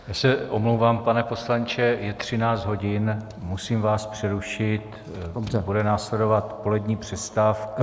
Já se omlouvám, pane poslanče, je 13 hodin, musím vás přerušit, bude následovat polední přestávka.